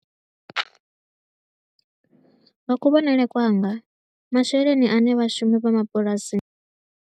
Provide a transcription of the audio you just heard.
Nga kuvhonele kwanga, masheleni a ne vhashumi vha mabulasini.